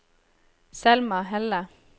Selma Helle